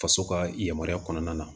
Faso ka yamaruya kɔnɔna na